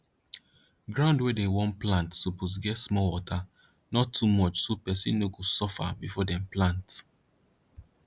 ground wey dem wan plant suppose get small water not too much so person no go suffer before dem plant